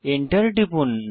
enter টিপুন